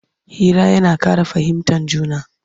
Hira yana Ƙara fahimtan juna